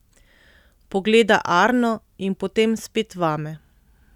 Pogleda Arno in potem spet vame.